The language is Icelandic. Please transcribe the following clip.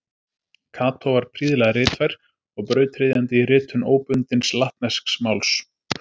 Kató var prýðilega ritfær og brautryðjandi í ritun óbundins latnesks máls.